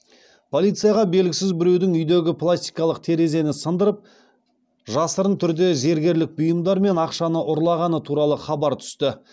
полицияға белгісіз біреудің үйдегі пластикалық терезені сындырып жасырын түрде зергерлік бұйымдар мен ақшаны ұрлағаны туралы хабар түсті